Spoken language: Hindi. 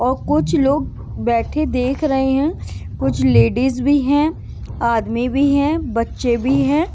और कुछ लोग बैठे देख रहे हैं कुछ लेडीज भी हैं आदमी भी हैं बच्चे भी हैं।